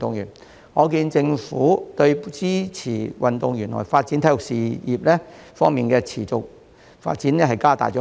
由此可見，政府已加大力度支持運動員和體育事業持續發展。